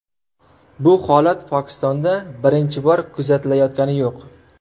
Bu holat Pokistonda birinchi bor kuzatilayotgani yo‘q.